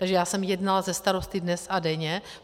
Takže já jsem jednala se starosty dnes a denně.